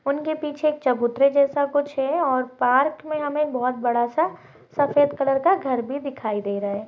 उनके पीछे एक चबुतरे जैसा कुछ है और पार्क में हमें बहुत बड़ा सा सफ़ेद कलर का घर भी दिखाई दे रहा है।